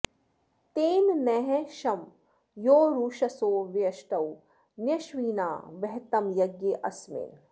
तेन॑ नः॒ शं योरु॒षसो॒ व्यु॑ष्टौ॒ न्य॑श्विना वहतं य॒ज्ञे अ॒स्मिन्